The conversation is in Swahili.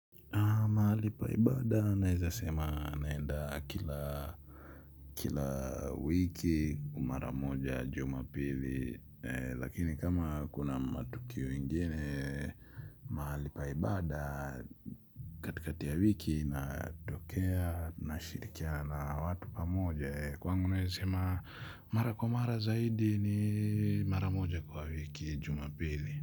Mahali pa ibada naeza sema naenda kila wiki mara moja jumapili. Lakini kama kuna matukio ingine mahali pa ibada katikati ya wiki natokea nashirikiana na watu pamoja. Kwangu naeza sema mara kwa mara zaidi ni mara moja kwa wiki jumapili.